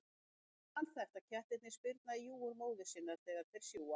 Það er alþekkt að kettlingar spyrna í júgur móður sinnar þegar þeir sjúga.